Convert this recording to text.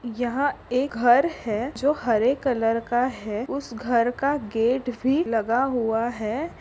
यहा एक घर है। जो हरे कलर का है। उस घरका गेट भी लगा हुआ है।